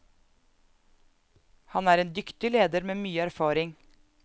Han er en dyktig leder med mye erfaring.